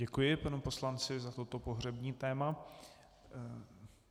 Děkuji panu poslanci za toto pohřební téma.